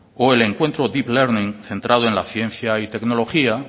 o el encuentro deep learning centrado en la ciencia y tecnología